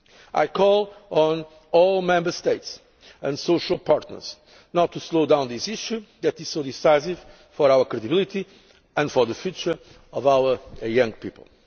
I call on all Member States and social partners not to slow down this issue, which is so decisive for our credibility and for the future of our young